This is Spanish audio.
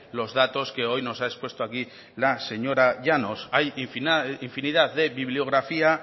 los datos que hoy nos ha expuesto aquí la señora llanos hay infinidad de bibliografía